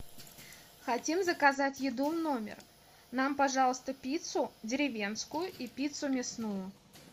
хотим заказать еду в номер нам пожалуйста пиццу деревенскую и пиццу мясную